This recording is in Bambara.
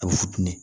A bɛ funteni